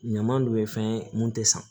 Ɲama dun ye fɛn ye mun tɛ san